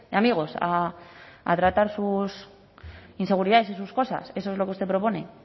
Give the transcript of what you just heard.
amigos a tratar sus inseguridades y sus cosas eso es lo que usted propone